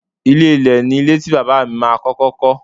Ilé ilẹ̀ ni ilé tí Bàbá mi ma kọ́kọ́ kọ́.